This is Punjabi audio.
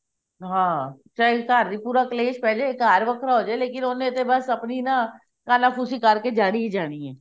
ਹਾਂ ਚਾਹੇ ਘਰ ਵਿੱਚ ਪੂਰਾ ਕਲੇਸ਼ ਪਾਈ ਜਾਵੇ ਘਰ ਵੱਖਰਾ ਹੋਜੇ ਲੇਕਿਨ ਉਹਨੇ ਤੇ ਬਸ ਆਪਣੀ ਨਾ ਕਾਨਾਫੂਸੀ ਕਰਕੇ ਜਾਣੀ ਹੀ ਜਾਣੀ ਹੈ